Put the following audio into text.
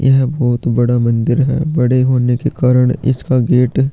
यह बहोत बड़ा मंदिर है बड़े होने के कारन इसका गेट --